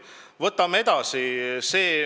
Võtame edasi.